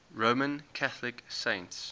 roman catholic saints